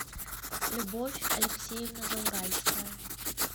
любовь алексеевна зауральская